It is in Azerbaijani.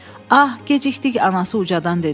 Ah, gecikdik, anası ucadan dedi.